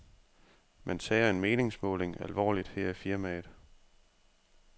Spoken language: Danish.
Man tager en meningsmåling alvorligt her i firmaet.